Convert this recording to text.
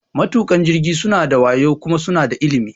Matuƙan jirgi suna da wayo kuma suna da ilimi.